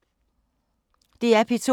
DR P2